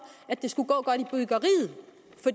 at det skulle gå godt